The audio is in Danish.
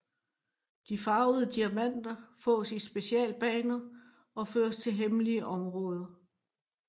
De farvede diamanter fås i specialbaner og fører til hemmelige områder